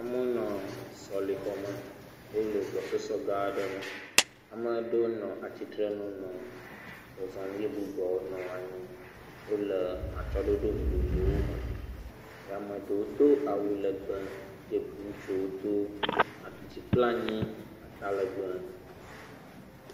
Amewo nɔ sɔlixɔme eye wonɔ gbɔsɔsɔgã aɖe me. Ame ɖewo nɔ atsitrenu nɔ zɔzɔm eye bubuawo nɔ anyi. Wole atsyɔ̃ɖoɖo vovovowo me. Amea ɖewo do awu lɛgbɛ eye bu, ŋutsuwo do a, dzi kple anyi, atalɛgbɛ.